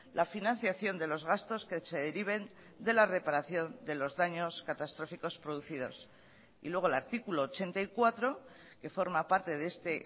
la financiación de los gastos que se deriven de la reparación de los daños catastróficos producidos y luego el artículo ochenta y cuatro que forma parte de este